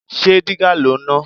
Ṣé dígà lò ń ná?